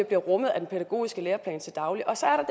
bliver rummet af den pædagogiske læreplan til daglig og så er